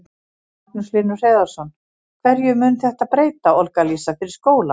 Magnús Hlynur Hreiðarsson: Hverju mun þetta breyta, Olga Lísa, fyrir skólann?